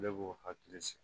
Ne b'o hakili sigi